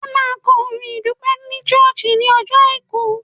Ẹ máa kọrin ìdúpẹ́ ní ṣọ́ọ̀ṣì ní ọjọ́ Àìkú.